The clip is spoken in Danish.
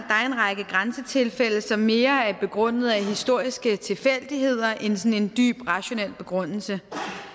er en række grænsetilfælde som mere er begrundet af historiske tilfældigheder end sådan en dyb rationel begrundelse